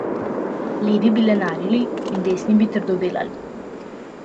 Levi bi lenarili in desni bi trdo delali.